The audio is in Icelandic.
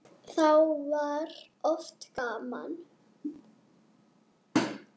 Þá var oft gaman.